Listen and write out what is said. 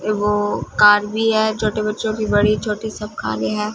ये go car भी है छोटे बच्चों की बड़ी छोटी सब कारे है।